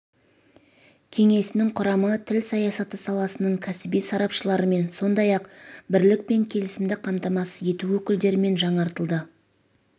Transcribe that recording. кеңесінің құрамы тіл саясаты саласының кәсіби сарапшыларымен сондай-ақ бірлік пен келісімді қамтамасыз ету өкілдерімен жаңартылды